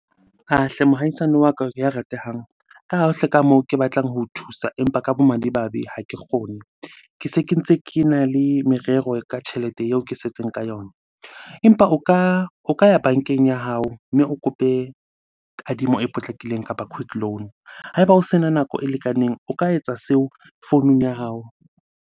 Ah hle! Mohaisane wa ka ya ratehang. Ka ha hle ka moo ke batlang ho o thusa empa ka bomadimabe ha ke kgone. Ke se ke ntse kena le merero ka tjhelete eo ke setseng ka yona. Empa o ka ya bankeng ya hao mme o kope kadimo e potlakileng kapa quick loan. Ha eba o sena nako e lekaneng, o ka etsa seo founung ya hao.